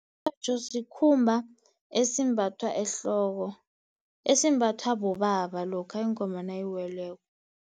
Umtjhotjho sikhumba esimbathwa ehloko, esimbathwa bobaba lokha ingoma nayiweleko.